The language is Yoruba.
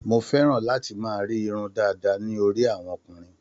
Mo fẹ́ràn láti máa rí irun dàda ní orí àwọn ọkùnrin.